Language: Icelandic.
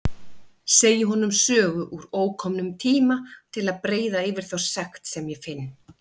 Segi honum sögu úr ókomnum tíma til að breiða yfir þá sekt sem ég finn.